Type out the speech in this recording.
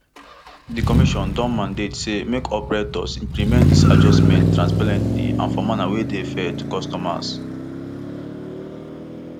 di commission don mandate say make operators implement dis adjustments transparently and for manner wey dey fair to consumers